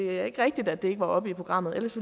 er rigtigt at det ikke var oppe i programmet ellers